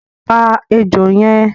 Pa ejò yẹn!